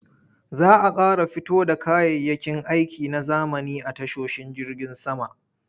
Za a ƙara fito da kayayyakin aiki na zamani a tashoshin jirgin sama.